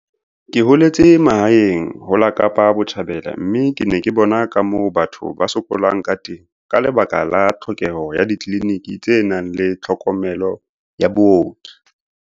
"Ke holetse mahaeng ho la Kapa Botjhabela mme ke ne ke bona ka moo batho ba sokolang ka teng ka lebaka la tlhokeho ya ditleliniki tse nang le tlhokomelo ya booki."